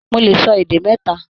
Mó lè sọ èdè mẹta.